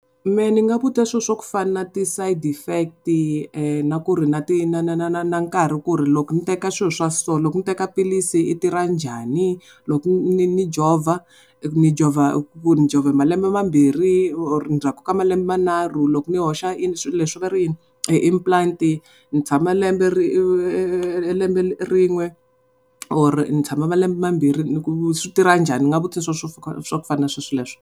Mehe ni nga vutisa swilo swo fana na ti side effect na ku ri na ti na na na na na nkarhi ku ri loko ni teka swilo swa so loko ni teka philisi ri tirha njhani loku ni jovha ni jovha malembe mambirhi or ndzhaku ka malembe manharhu loko ni hoxa swilo leswi va ri i yini implant ni tshamba lembe rin'we or ni tshama malemba mambirhi swi tirha njhani ni nga vutisa swa ku fana na swo swa leswo.